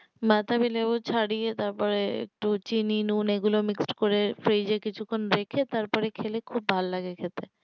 বাতাবিলেবু ছাড়িয়ে তারপরে একটু চিনি নূন এগুলো mixed করে fridge এ কিছুক্ষণ রেখে তারপরে খেলে খুব ভালো লাগে খেতে